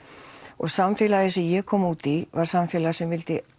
og samfélagið sem ég kom út í var samfélag sem vildi